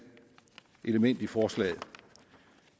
element i forslaget